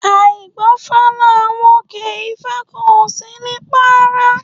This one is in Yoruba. Àìgbófá là n wòkè, ifa kan o si ni para